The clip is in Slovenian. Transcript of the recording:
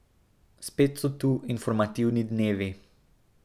Spet so tu informativni dnevi.